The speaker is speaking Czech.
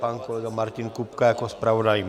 Pan kolega Martin Kupka jako zpravodaj?